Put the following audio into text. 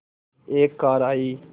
एक कार आई